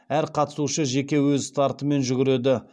әр қатысушы жеке өз стартымен жүгіреді